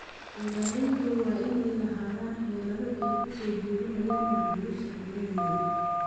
Beeralaydu waa inay lahaadaan xeelado ay ku soo jiidanayaan macaamiisha ajnabiga ah.